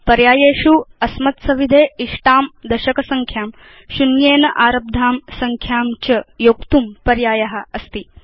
पर्यायेषु अस्मत्सविधे इष्टां दशक संख्यां शून्येन आरब्धां संख्यां च योक्तुं पर्याय अस्ति